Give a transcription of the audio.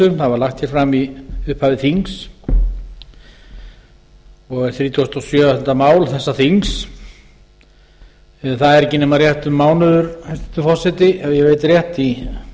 það var lagt hér fram í upphafi þings og er þrítugasta og sjöunda mál þessa þings en það er ekki nema rétt um mánuður hæstvirtur forseti ef ég veit rétt í